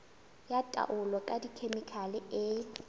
ya taolo ka dikhemikhale e